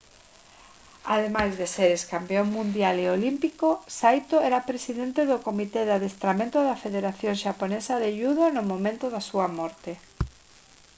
ademais de ser excampión mundial e olímpico saito era presidente do comité de adestramento da federación xaponesa de judo no momento da súa morte